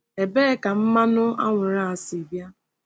Ebee ka mmanụ anwụrụ a si bịa?